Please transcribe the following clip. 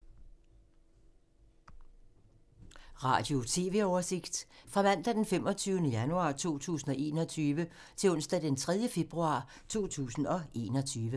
Radio/TV oversigt fra mandag d. 25. januar 2021 til onsdag d. 3. februar 2021